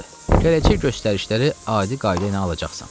Gələcək göstərişləri adi qayda ilə alacaqsan.